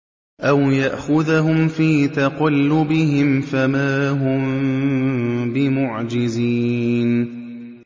أَوْ يَأْخُذَهُمْ فِي تَقَلُّبِهِمْ فَمَا هُم بِمُعْجِزِينَ